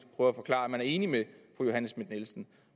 prøver at forklare at man er enig med fru johanne schmidt nielsen